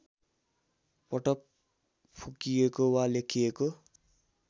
पटक फुकिएको वा लेखिएको